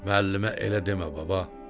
Müəllimə elə demə, baba!